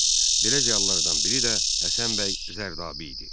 Belə ziyalılardan biri də Həsən bəy Zərdabi idi.